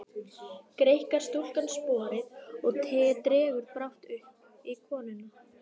Greikkar stúlkan sporið og dregur brátt uppi konuna.